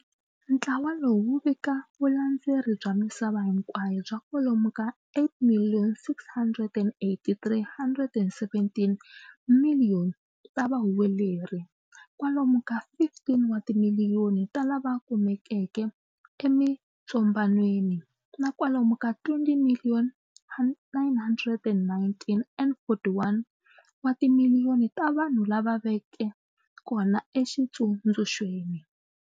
Ntlawa lowu wu vika vulandzeri bya misava hinkwayo bya kwalomu ka 8.683.117 miliyoni ta vahuweleri, kwalomu ka 15 wa timiliyoni wa lava kumekaka emitsombanweni, na kwalomu ka 20.919.041 wa timiliyoni ta vanhu lava veke kona eXitsundzuxweni.